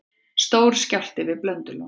Stór skjálfti við Blöndulón